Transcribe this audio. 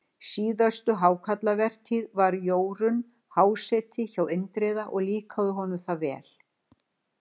síðustu hákarlavertíð var Jórunn háseti hjá Indriða og líkaði honum það vel.